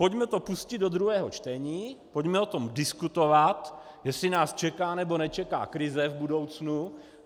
Pojďme to pustit do druhého čtení, pojďme o tom diskutovat, jestli nás čeká, nebo nečeká krize v budoucnu.